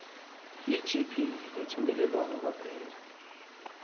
yigp yethungelelwano kwaphela